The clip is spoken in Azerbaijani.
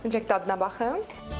Mütləq dadına baxın.